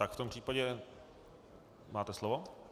Tak v tom případě máte slovo.